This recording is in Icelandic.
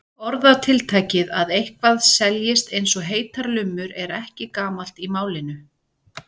Orðatiltækið að eitthvað seljist eins og heitar lummur er ekki gamalt í málinu.